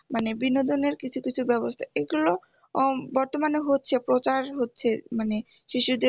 মানে বিনোদনের কিছু কিছু ব্যবস্থা এগুলো উম বর্তমানে হচ্ছে প্রচার হচ্ছে মানে শিশুদের